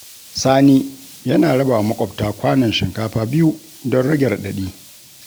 Sani yana rabawa maƙwabta kwanon shinkafa biyu don rage raɗaɗi.